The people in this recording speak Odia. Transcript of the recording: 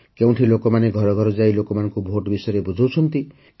କେଉଁଠି ଲୋକମାନେ ଘର ଘର ଯାଇ ଲୋକମାନଙ୍କୁ ଭୋଟ ବିଷୟରେ ବୁଝାଉଛନ୍ତି